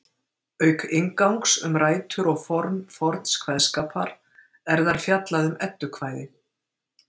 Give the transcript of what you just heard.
auk inngangs um rætur og form forns kveðskapar er þar fjallað um eddukvæði